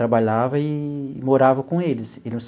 Trabalhava e morava com eles.